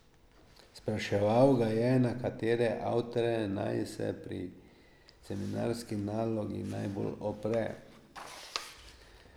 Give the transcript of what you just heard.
Spraševal ga je, na katere avtorje naj se pri seminarski nalogi najbolj opre.